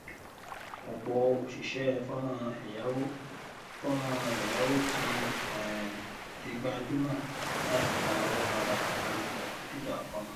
ọpọ òṣìṣẹ fọnrán ẹyáwó fọnrán ẹyáwó ti um di gbajúmọ láti gba owó padà nípa jàgídíjàgan